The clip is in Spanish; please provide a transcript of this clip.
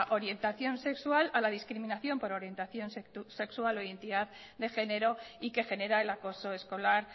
orientación sexual a la discriminación por orientación sexual hoy en día de género y que genera el acoso escolar